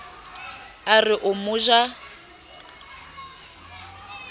a re o mo ja